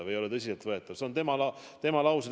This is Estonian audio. See ei ole tõsiseltvõetav – see on tema lause.